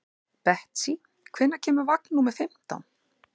Betsý, hvenær kemur vagn númer fimmtán?